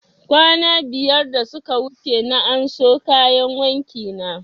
Kwana biyar da suka wuce na anso kayan wanki na